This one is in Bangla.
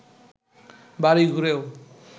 বাড়ি ঘুরেও